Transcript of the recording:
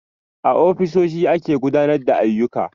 A ofisoshi ake gudanar da ayyuka